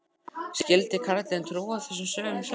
Skyldi karlinn trúa þessum sögum sjálfur?